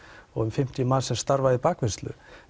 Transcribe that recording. og um fimmtíu manns sem starfa í bakvinnslu